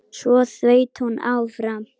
Svo þaut hún áfram.